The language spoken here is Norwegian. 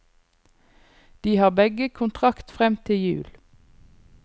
De har begge kontrakt frem til jul.